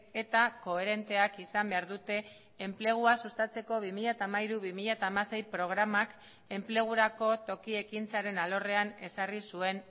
eta koherenteak izan behar dute enplegua sustatzeko bi mila hamairu bi mila hamasei programak enplegurako toki ekintzaren alorrean ezarri zuen